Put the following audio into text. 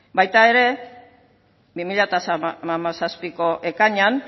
baita ere bi mila hamazazpiko ekainean